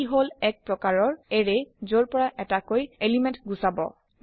ই হল একপ্ৰকাৰৰ এৰে যৰ পৰা এটাকৈ এলিমেণ্ট গুচাব